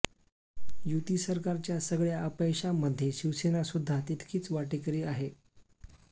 युती सरकारच्या सगळ्या अपयशांमध्ये शिवसेना सुद्धा तितकीच वाटेकरी अाहे